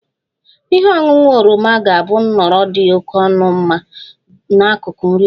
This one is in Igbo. Ihe ọṅụṅụ oroma ga-abụ nhọrọ dị oke mma n'akụkụ nri ụtụtụ